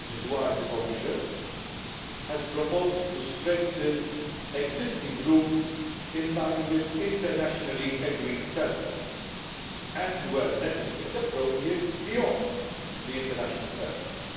This is why the Commission has proposed strengthening the existing rules in line with internationally agreed standards and, where necessary and appropriate, beyond the international standards.